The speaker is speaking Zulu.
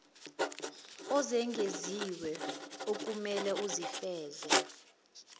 ezengeziwe okumelwe uzifeze